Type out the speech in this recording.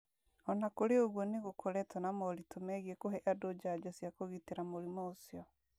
O na kũrĩ ũguo, nĩ gũkoretwo na moritũ megiĩ kũhe andũ njanjo cia kũgitĩra mũrimũ ũcio.